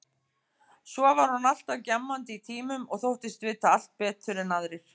Svo var hún alltaf gjammandi í tímum og þóttist vita allt betur en aðrir.